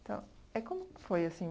Então, é como que foi assim?